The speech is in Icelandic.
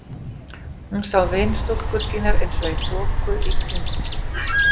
Hún sá vinstúlkur sínar eins og í þoku í kringum sig.